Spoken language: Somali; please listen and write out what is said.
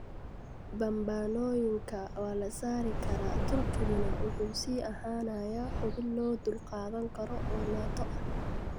Bambaanooyinka waa la saari karaa, Turkiguna wuxuu sii ahaanayaa xubin loo dulqaadan karo oo Nato ah.